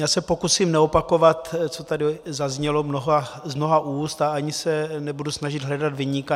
Já se pokusím neopakovat, co tady zaznělo z mnoha úst, a ani se nebudu snažit hledat viníka.